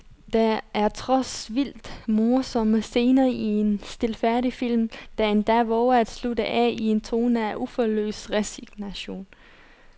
Der er trods vildt morsomme scener en stilfærdig film, der endda vover at slutte af i en tone af uforløst resignation.